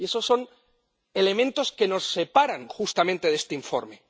Y esos son elementos que nos separan justamente de este informe.